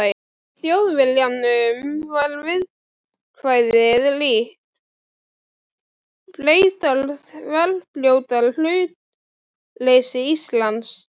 Í Þjóðviljanum var viðkvæðið líkt: Bretar þverbrjóta hlutleysi Íslands.